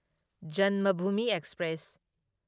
Janmabhumi express